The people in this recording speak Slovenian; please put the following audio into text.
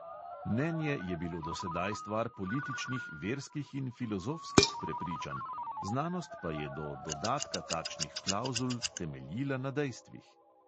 Mnenje je bilo do sedaj stvar političnih, verskih in filozofskih prepričanj, znanost pa je do dodatka takšnih klavzul temeljila na dejstvih.